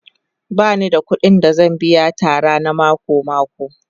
Ba ni da kuɗin da zan biya Tara na mako-mako